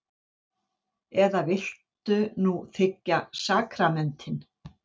Eða viltu nú þiggja sakramentin?